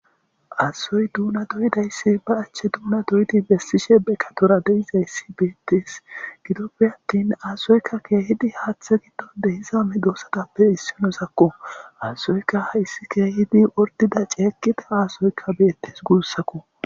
Asoy duuna doyidayssi ba achche duuna doyidi bessishe bekatora deiza issi beettees gidoppe attin aasoykka keehidi haaththe giddo dehizame doossatappe issinosakko aasoyka hayssi keehidi ordida ceekida aasoykka beettes guussakko.